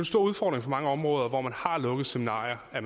stor udfordring for mange områder hvor man har lukket seminarier at